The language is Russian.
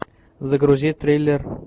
загрузи триллер